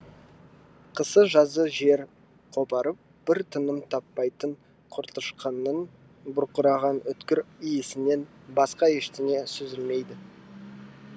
қысы жазы жер қопарып бір тыным таппайтын көртышқанның бұрқыраған өткір иісінен басқа ештеңе сезілмейді